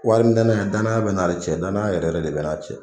Wari dana danaya be n n'ale cɛ danaya yɛrɛ yɛrɛ de be n n'a cɛ